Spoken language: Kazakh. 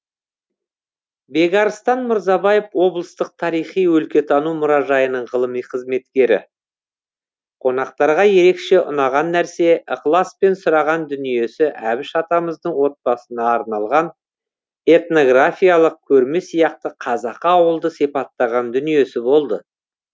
бекарыстан мырзабаев облыстық тарихи өлкетану мұражайының ғылыми қызметкері қонақтарға ерекше ұнаған нәрсе ықыласпен сұраған дүниесі әбіш атамыздың отбасына арналған этнографиялық көрме сияқты қазақы ауылды сипаттаған дүниесі болды